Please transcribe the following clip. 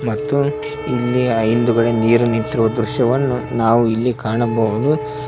ಮತ್ತು ಇಲ್ಲಿ ಆ ಹಿಂದುಗಡೆ ನೀರು ನಿಂತಿರುವ ದೃಶ್ಯವನ್ನು ನಾವು ಇಲ್ಲಿ ಕಾಣಬಹುದು.